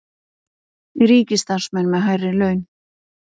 Ríkisstarfsmenn með hærri laun